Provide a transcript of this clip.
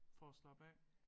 For at slappe af